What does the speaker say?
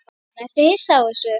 Jóhann: Ertu hissa á þessu?